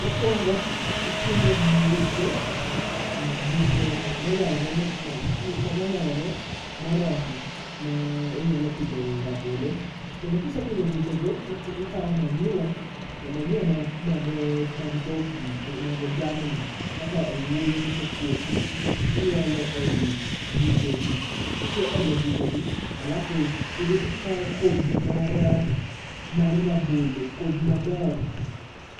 Mokuongo ikunyo buche, ee buche moyayore moromo, ma inyalo pidhoe rabolo. Kendo ka isekunyo buchego to ikawo manyiwa, ee manyiwa mag dhok gi mag jamni. Ikawo owuoyo mosekuok to iolo ei buchegi. Kise olo e buchegi, alafu ikawo kodhi mar rabolo, kodhi maber.